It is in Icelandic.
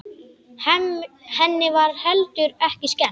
Henni var heldur ekki skemmt.